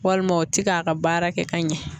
Walima o ti k'a ka baara kɛ ka ɲɛ